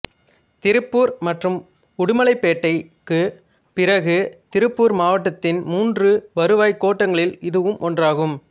திருப்பூர் மற்றும் உடுமலைப்பேட்டைக்கு பிறகு திருப்பூர் மாவட்டத்தின் மூன்று வருவாய் கோட்டங்களில் இதுவும் ஒன்றாகும்